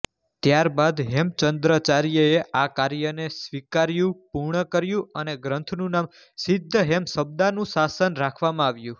ત્યારબાદ હેમચંદ્રાચાર્યે આ કાર્યને સ્વીકાર્યું પૂર્ણ કર્યું અને ગ્રંથનું નામ સિદ્ધહેમશબ્દાનુશાસન રાખવામાં આવ્યું